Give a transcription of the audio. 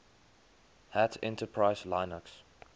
hat enterprise linux